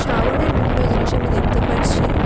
বিভিন্ন জিনিস আমি দেখতে পারছি।